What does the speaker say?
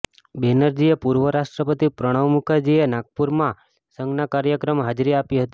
બેનરજીએ પૂર્વ રાષ્ટ્રપતિ પ્રણવ મુખરજીએ નાગપુરમાં સંઘના કાર્યક્રમાં હાજરી આપી હતી